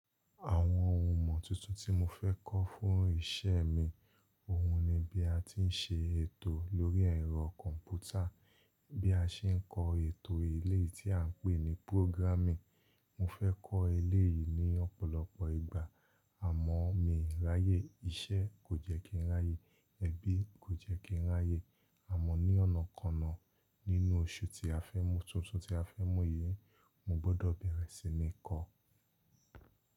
Àwọn ohun imọ̀ tuntun tí mo fẹ́ kọ́ fún iṣẹ́ mi, òhun ni bí a ti ń ṣe ètò lórí ẹ̀rọ kọ̀ǹpútà, bí a ṣe ń kọ ètò eléyii ti à ń pè ní programming. Mo fẹ́ kọ́ eléèyí ní ọ̀pọ̀lọpọ̀ ìgbà, àmọ́ mi ráyé, iṣẹ́ kò jẹ́ kí n ráyé, ẹbí kò jẹ́ kí n ráyé, àmọ́ ní ọna-kọna nínú oṣù tí a fẹ́ mú tuntun tí a fẹ́ mú yìí, mo gbọdọ̀ bẹ̀rẹ̀ sí ní kọ́.